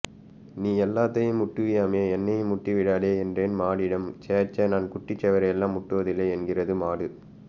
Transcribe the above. நீ எல்லாத்தையும்ம் முட்டுவியாமே என்னையும் முட்டிடாதே என்றேன் மாடிடம் சே சே நான் குட்டிச்சுவரையெல்லாம் முட்டுவதில்லை என்கிறது மாடு